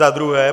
Za druhé.